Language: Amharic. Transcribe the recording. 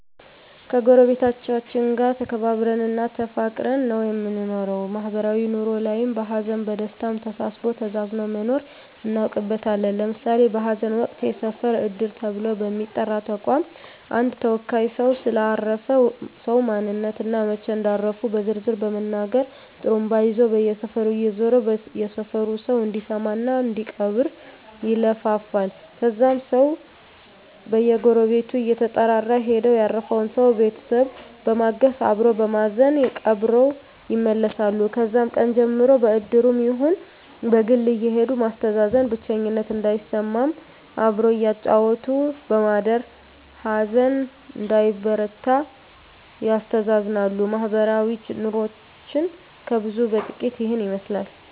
ከጎረቤቶቻችን ጋር ተከባብረን እና ተፋቅረን ነው የምንኖረው ማህበራዊ ኑሮ ላይም በሀዘንም በደስታም ተሳስቦ ተዛዝኖ መኖርን እናውቅበታለን ለምሳሌ በሀዘን ወቅት የሰፈር እድር ተብሎ በሚጠራ ተቋም አንድ ተወካይ ሰው ስለ አረፈ ሰው ማንነት እና መች እንዳረፉ በዝርዝር በመናገር ጡሩምባ ይዞ በየሰፈሩ እየዞረ የሰፈሩ ሰው እንዲሰማ እና እንዲቀብር ይለፍፋል ከዛም ሰው በየጎረቤቱ እየተጠራራ ሄደው ያረፈውን ሰው ቤተሰብ በማገዝ አበሮ በማዘን ቀብረው ይመለሳሉ ከዛም ቀን ጀምሮ በእድሩም ይሁን በግል አየሄዱ ማስተዛዘን ብቸኝነት እንዳይሰማም አብሮ እያጫወቱ በማደር ሀዘን እንዳይበረታ ያስተዛዝናሉ ማህበረሰባዊ ኑሮችን ከብዙ በጥቂቱ ይህን ይመስላል